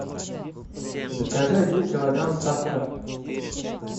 закажи один килограмм сахара